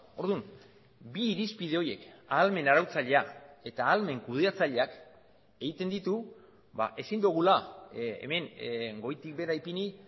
orduan bi irizpide horiek ahalmen arautzailea eta ahalmen kudeatzaileak egiten ditu ezin dugula hemen goitik behera ipini